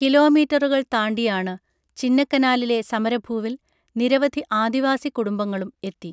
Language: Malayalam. കിലോമീറ്ററുകൾ താണ്ടിയാണ് ചിന്നക്കനാലിലെ സമരഭൂവിൽ നിരവധി ആദിവാസി കുടുംബങ്ങളും എത്തി